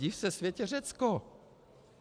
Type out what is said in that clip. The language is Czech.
Div se světe, Řecko!